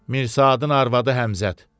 Mirsadın arvadı Həmzəd.